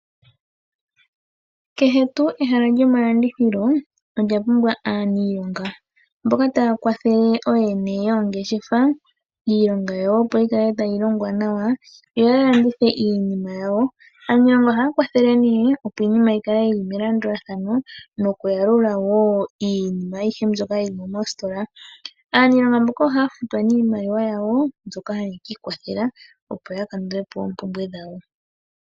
Kehe tuu ehala lyomalandithilo, olya pumbwa aaniilonga mboka ta ya kwathele ooyene yoongeshefa, iilonga yawo opo yi kale ta yi longwa nawa, yo ya landithe iinima yawo. Aaniilonga oha ya kwathele opo iinima yi ka le yili melandulathano, noku yalula woo iinima ayihe mbyoka yili mositola. Aanilonga mboka oha ya futwa nee iimaliwa yawo mbyoka ha ye ki ikwathela, opo ya kandule po oompumbwe dhawo.